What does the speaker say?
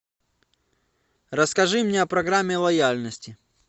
расскажи мне о программе лояльности